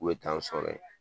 U be taa n sɔrɔ ye